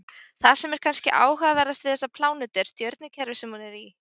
Það sem er kannski áhugaverðast við þessa plánetu er stjörnukerfið sem hún er í.